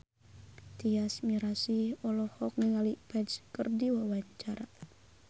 Tyas Mirasih olohok ningali Ferdge keur diwawancara